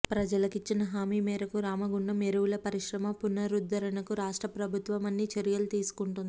ప్రజలకిచ్చిన హామీ మేరకు రామగుండం ఎరువుల పరిశ్రమ పునరుద్ధరణకు రాష్ట్ర ప్రభుత్వం అన్ని చర్యలు తీసుకుంటోంది